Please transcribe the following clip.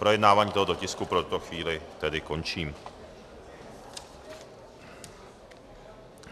Projednávání tohoto tisku pro tuto chvíli tedy končím.